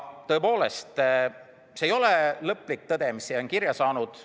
Tõepoolest, see ei ole lõplik tõde, mis siia on kirja saanud.